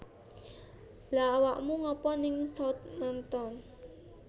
Lha awakmu ngapa ning Southampton?